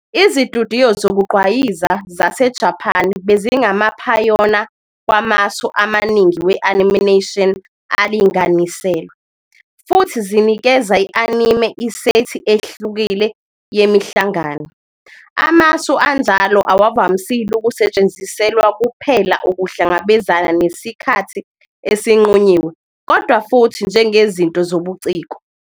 Izitudiyo zokugqwayiza zaseJapan bezingamaphayona wamasu amaningi we-animation alinganiselwe, futhi zinikeze i-anime isethi ehlukile yemihlangano. Amasu anjalo awavamisile ukusetshenziselwa kuphela ukuhlangabezana nesikhathi esinqunyiwe kodwa futhi njengezinto zobuciko.